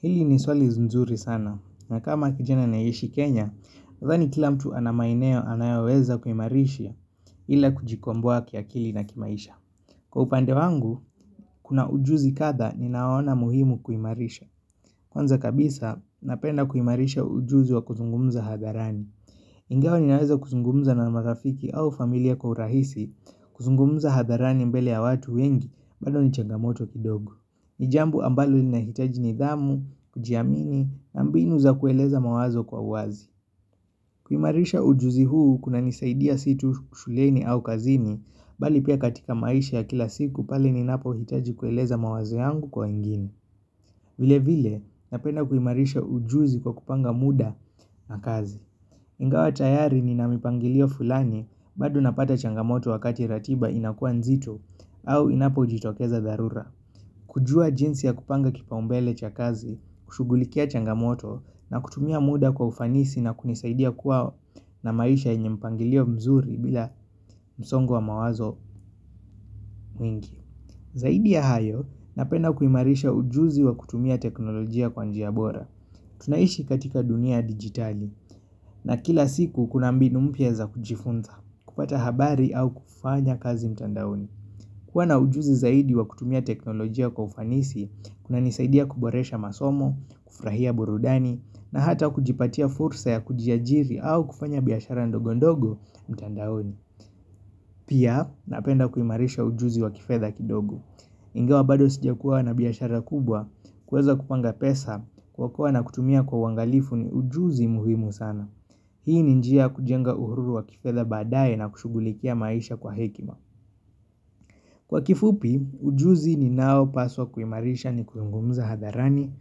Hili ni swali nzuri sana, na kama kijana anaye ishi Kenya, nadhani kila mtu anamaeneo anayoweza kuimarisha ila kujikomboa kiakili na kimaisha. Kwa upande wangu, kuna ujuzi kadha ni naona muhimu kuimarisha. Kwanza kabisa, napenda kuimarisha ujuzi wa kuzungumza hadharani. Ingawa ni naweza kuzungumza na mazafiki au familia kwa urahisi kuzungumza hadharani mbele ya watu wengi, bado ni changamoto kidogo. Ni jambo ambalo ninahitaji ni dhamu, kujiamini, nambinu za kueleza mawazo kwa uwazi. Kuimarisha ujuzi huu kuna nisaidia situ kushuleni au kazini, bali pia katika maisha ya kila siku pale ninapo hitaji kueleza mawazo yangu kwa wengine. Vile vile, napenda kuimarisha ujuzi kwa kupanga muda na kazi. Ingawa tayari ni namipangilio fulani, bado napata changamoto wakati ratiba inakua nzito, au inapo jitokeza dharura. Kujua jinsi ya kupanga kipaumbele cha kazi, kushughulikia changamoto na kutumia muda kwa ufanisi na kunisaidia kuwa na maisha yenye mpangilio mzuri bila msongo wa mawazo mwingi. Zaidi ya hayo, napenda kuimarisha ujuzi wa kutumia teknolojia kwa njia bora. Tunaishi katika dunia digitali na kila siku kuna mbinu mpya za kujifunza, kupata habari au kufanya kazi mtandaoni. Kuwa na ujuzi zaidi wa kutumia teknolojia kwa ufanisi, kuna nisaidia kuboresha masomo, kufurahia burudani, na hata kujipatia fursa ya kujiajiri au kufanya biashara ndogo ndogo mtandaoni. Pia, napenda kuimarisha ujuzi wa kifedha kidogo. Ingawa bado sija kuwa na biashara kubwa, kuweza kupanga pesa, kwa kuwa na kutumia kwa uangalifu ni ujuzi muhimu sana. Hii ni njia ya kujenga uhuru wa kifedha baadae na kushughulikia maisha kwa hekima. Kwa kifupi, ujuzi ninaopaswa kuimarisha ni kuzungumza hadharani,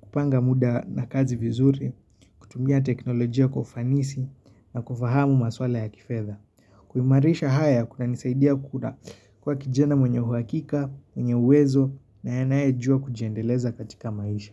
kupanga muda na kazi vizuri, kutumia teknolojia kufanisi na kufahamu maswala ya kifedha. Kuimarisha haya kuna nisaidia kuna kuwa kijana mwenye uhakika, mwenye uwezo na anaye jua kujiendeleza katika maisha.